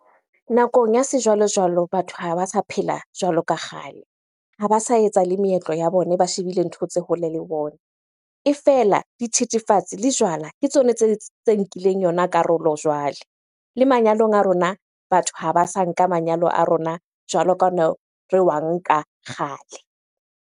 Nakong ya sejwalojwalo, batho ha ba sa phela jwalo ka kgale. Ha ba sa etsa le meetlo ya bone, ba shebile ntho tse hole le bona. E fela dithethefatsi le jwala ke tsona tse nkileng yona karolo jwale. Le manyalong a rona, batho ha ba sa nka manyalo a rona jwalo ka re wa nka kgale.